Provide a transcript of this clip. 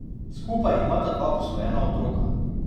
Skupaj imata dva posvojena otroka.